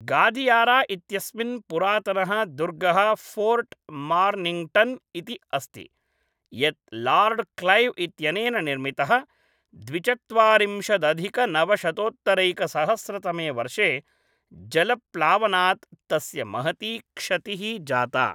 गादियारा इत्यस्मिन् पुरातनः दुर्गः फ़ोर्ट् मार्निङ्गटन् इति अस्ति, यत् लार्ड् क्लैव् इत्यनेन निर्मितः; द्विचत्वारिंशदधिकनवशतोत्तरैकसहस्रतमे वर्षे जलप्लावनात् तस्य महती क्षतिः जाता।